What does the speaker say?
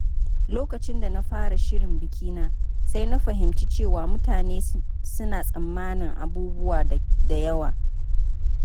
Lokacin da na fara shirin bikina, sai na fahimci cewa mutane suna tsammanin abubuwa da yawa.